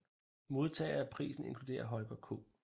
Modtagere af prisen inkluderer Holger K